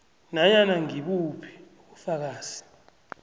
nanyana ngibuphi ubufakazi